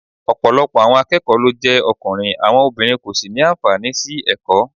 Ọ̀pọ̀lọpọ̀ àwọn akẹ́kọ̀ọ́ ló jẹ́ ọkùnrin, àwọn obìnrin kò sì ní àǹfààní sí ẹ̀kọ́